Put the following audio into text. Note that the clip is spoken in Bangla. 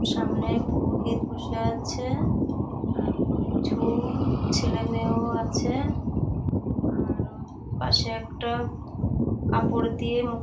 সামনে পুরোহিত বসে আছে আর কিছু ছেলেমেয়েও আছে আরো পাশে একটা কাপড় দিয়ে মুখ--